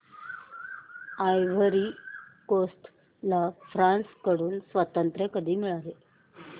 ivory Coast ला France कडून स्वातंत्र्य कधी मिळाले